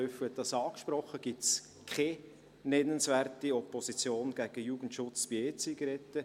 Löffel hat dies angesprochen – gibt es keine nennenswerte Opposition gegen den Jugendschutz bei EZigaretten.